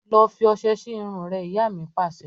Lọ fi ọsẹ sì irun rẹ! Ìyá mi Pàṣẹ.